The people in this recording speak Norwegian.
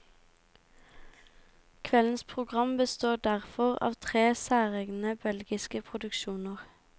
Kveldens program består derfor av tre særegne belgiske produksjoner.